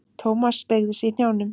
Thomas beygði sig í hnjánum.